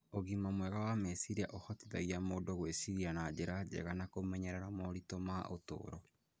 Ũgima mwega wa meciria ũhotithagia mũndũ gwĩciria na njĩra njega na kũmenyerera moritũ ma ũtũũro.